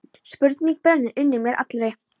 Spurning brennur inn í mér allri.